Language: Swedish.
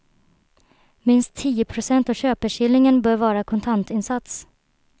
Minst tio procent av köpeskillingen bör vara kontantinsats.